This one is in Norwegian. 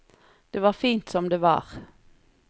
Det var fint som det var.